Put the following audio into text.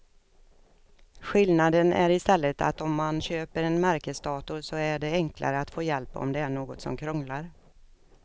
Skillnaden är i stället att om man köper en märkesdator så är det enklare att få hjälp om det är något som krånglar.